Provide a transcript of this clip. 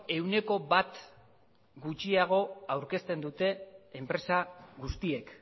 ehuneko bat gutxiago aurkezten dute enpresa guztiek